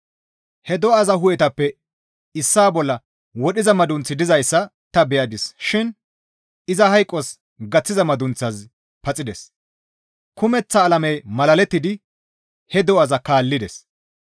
He do7aza hu7etappe issaa bolla wodhiza madunththi dizayssa ta beyadis shin iza hayqos gaththiza madunththazi paxides; kumeththa alamey malalettidi he do7aza kaallides.